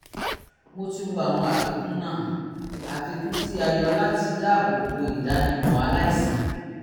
mo ti wo àwọn àfikún náà àfikún tí a yọ láti dáàbò bo ìdánimọ aláìsàn